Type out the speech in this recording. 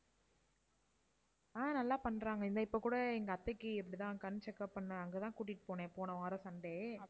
ஆஹ் நல்லா பண்றாங்க. இந்த இப்ப கூட எங்க அத்தைக்கு இப்படிதான் கண் checkup பண்ண அங்க தான் கூட்டிட்டு போனேன் போன வாரம் sunday.